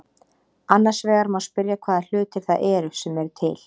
Annars vegar má spyrja hvaða hlutir það eru sem eru til.